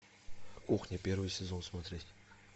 кухня первый сезон смотреть